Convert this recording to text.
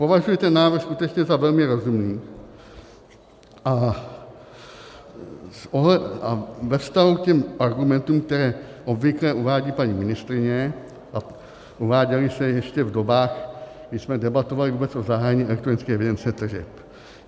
Považuji ten návrh skutečně za velmi rozumný a ve vztahu k těm argumentům, které obvykle uvádí paní ministryně a uváděly se ještě v dobách, kdy jsme debatovali vůbec o zahájení elektronické evidence tržeb.